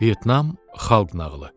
Vyetnam xalq nağılı.